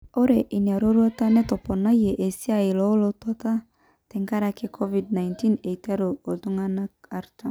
Ore inaroruata netoponayie esiana olotwata tenkaraki covid -19 eiteru ltunganak artam.